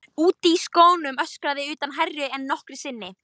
Úti á sjónum öskraði urtan hærra en nokkru sinni.